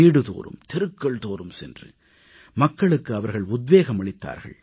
வீடுதோறும் தெருக்கள்தோறும் சென்று மக்களுக்கு அவர்கள் உத்வேகம் அளித்தார்கள்